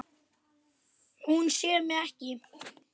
Hún sér mig ekki.